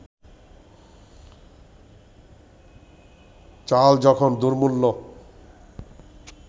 চাল যখন দুর্মূল্য